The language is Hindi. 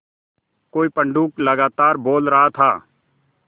कोई पंडूक लगातार बोल रहा था